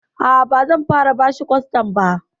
A'a, bazan fara bashi kostad ba.